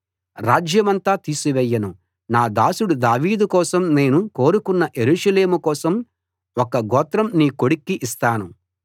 రాజ్యమంతా తీసివేయను నా దాసుడు దావీదు కోసం నేను కోరుకొన్న యెరూషలేము కోసం ఒక్క గోత్రం నీ కొడుక్కి ఇస్తాను